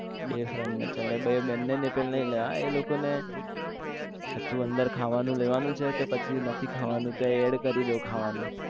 બે friend ને ચલ ને બંને ની પણ લઈ એ લોકો ને શું અંદર ખાવા નું લેવા નું છે કે પછી નથી ખાવા નું તો add કરી લઉં ખાવાનું